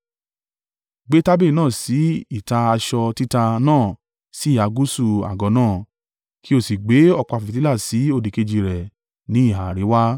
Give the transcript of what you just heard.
Gbé tábìlì náà sí ìta aṣọ títa náà sí ìhà gúúsù àgọ́ náà, kí o sì gbé ọ̀pá fìtílà sí òdìkejì rẹ̀ ní ìhà àríwá.